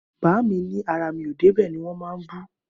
Bàámi ni àrá mi ò dẹ bẹ ni wón mà ń bú